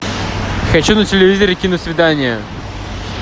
хочу на телевизоре киносвидание